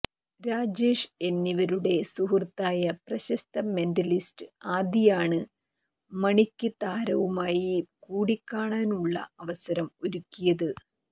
രാജേഷ് എന്നിവരുടെ സുഹൃത്തായ പ്രശസ്ത മെന്റലിസ്റ്റ് ആദിയാണ് മണിക്ക് താരവുമായി കൂടിക്കാണാനുള്ള അവസരം ഒരുക്കിയത്